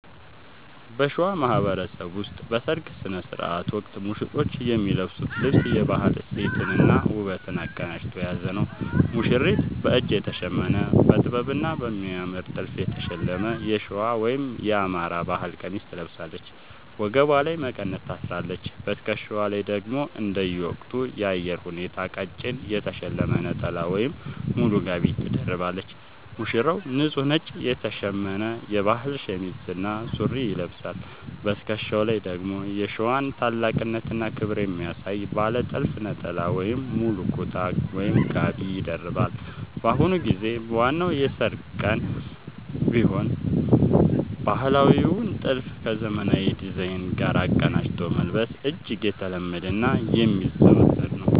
በሸዋ ማህበረሰብ ውስጥ በሠርግ ሥነ ሥርዓት ወቅት ሙሽሮች የሚለብሱት ልብስ የባህል እሴትንና ውበትን አቀናጅቶ የያዘ ነው፦ ሙሽሪት፦ በእጅ የተሸመነ: በጥበብና በሚያምር ጥልፍ የተሸለመ የሸዋ (የአማራ) ባህል ቀሚስ ትለብሳለች። ወገቧ ላይ መቀነት ታስራለች: በትከሻዋ ላይ ደግሞ እንደየወቅቱ የአየር ሁኔታ ቀጭን የተሸለመ ነጠላ ወይም ሙሉ ጋቢ ትደርባለች። ሙሽራው፦ ንጹህ ነጭ የተሸመነ የባህል ሸሚዝ እና ሱሪ ይለብሳል። በትከሻው ላይ ደግሞ የሸዋን ታላቅነትና ክብር የሚያሳይ ባለ ጥልፍ ነጠላ ወይም ሙሉ ኩታ (ጋቢ) ይደርባል። በአሁኑ ጊዜ በዋናው የሠርግ ቀንም ቢሆን ባህላዊውን ጥልፍ ከዘመናዊ ዲዛይን ጋር አቀናጅቶ መልበስ እጅግ የተለመደና የሚዘወተር ነው።